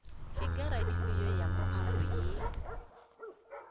figara ifhio ya muambo ye